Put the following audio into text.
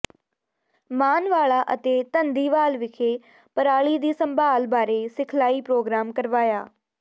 ਮਾਨਵਾਲਾ ਅਤੇ ਧੰਦੀਵਾਲ ਵਿਖੇ ਪਰਾਲੀ ਦੀ ਸੰਭਾਲ ਬਾਰੇ ਸਿਖਲਾਈ ਪ੍ਰੋਗਰਾਮ ਕਰਵਾਇਆ